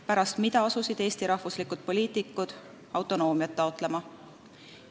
Pärast seda asusid Eesti rahvuslikud poliitikud taotlema autonoomiat.